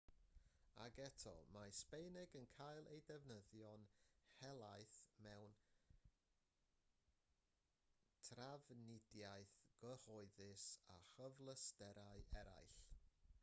ac eto mae sbaeneg yn cael ei defnyddio'n helaeth mewn trafnidiaeth gyhoeddus a chyfleusterau eraill